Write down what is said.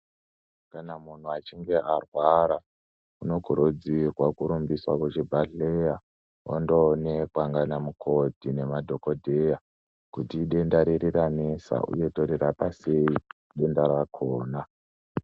Kana munthu echinge arwara unokurudzirwa kurumbiswa kuchibhedhleya ondoonekwa ndiana mukoti nemadhokodheya kuti idenda riri ranesa uye torirapa sei denda rakona.